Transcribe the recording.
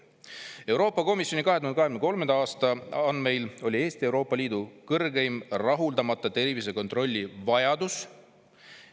Euroopa Komisjoni 2023. aasta andmeil oli Eestis Euroopa Liidu kõrgeim rahuldamata tervisekontrolli vajadus.